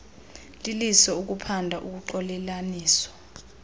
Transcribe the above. liliso ukuphanda ukuxolelanisa